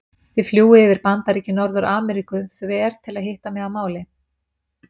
Þið fljúgið yfir Bandaríki Norður-Ameríku þver til að hitta mig að máli.